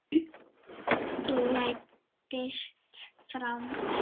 Læddist fram.